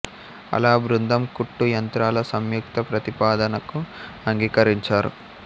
అలా ఆ బృందం కుట్టు యంత్రాల సంయుక్త ప్రతిపాదనకు అంగీకరించారు